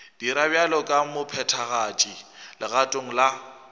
dira bjalo ka mophethagatši legatong